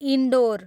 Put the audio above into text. indoor